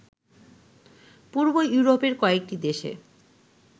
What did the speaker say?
পূর্ব ইউরোপের কয়েকটি দেশে